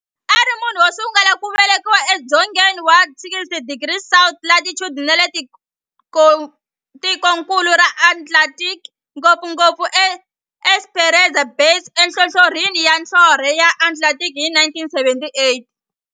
Ari munhu wosungula ku velekiwa e dzongeni wa 60 degrees south latitude nale ka tikonkulu ra Antarctic, ngopfungopfu e Esperanza Base enhlohlorhini ya nhlonhle ya Antarctic hi 1978.